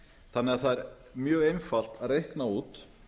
þannig að það er mjög einfalt að reikna út